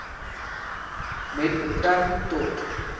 met betrekking tot